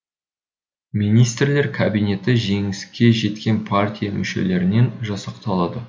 министрлер кабинеті жеңіске жеткен партия мүшелерінен жасақталады